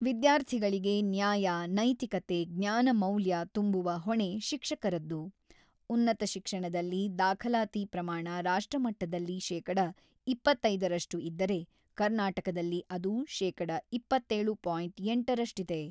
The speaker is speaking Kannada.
ವಿದ್ಯಾರ್ಥಿಗಳಿಗೆ ನ್ಯಾಯ, ನೈತಿಕತೆ, ಜ್ಞಾನ ಮೌಲ್ಯ ತುಂಬುವ ಹೊಣೆ ಶಿಕ್ಷಕರದ್ದು, ಉನ್ನತ ಶಿಕ್ಷಣದಲ್ಲಿ ದಾಖಲಾತಿ ಪ್ರಮಾಣ ರಾಷ್ಟ್ರಮಟ್ಟದಲ್ಲಿ ಶೇಕಡ ಇಪ್ಪತ್ತೈದ ರಷ್ಟು ಇದ್ದರೆ, ಕರ್ನಾಟಕದಲ್ಲಿ ಅದು ಶೇಕಡ ಇಪ್ಪತ್ತೇಳು ಪಾಯಿಂಟ್ ಎಂಟರಷ್ಟಿದೆ.